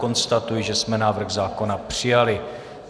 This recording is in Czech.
Konstatuji, že jsme návrh zákona přijali.